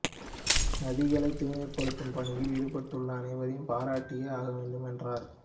நதிகளை தூய்மைப்படுத்தும் பணியில் ஈடுபட்டுள்ள அனைவரையும் பாராட்டியே ஆக வேண்டும் என்றார்